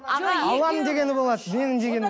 аға алланың дегені болады